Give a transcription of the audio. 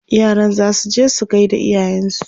yaran zasu je su gaida iyayensu